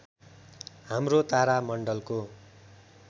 हाम्रो तारा मण्डलको